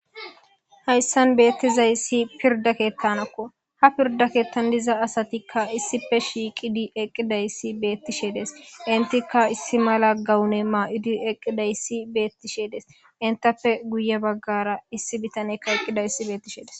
hayssan beettizay ssi pirda keettanakko ha pirda keettan diza asatikka issife shiiqidi eqqidayssi beettisheedes intikka issi mala gawune maa7udi eqqidayssi beettisheedes intappe guye baggara issi bitanekka eqqida issi beettisheedes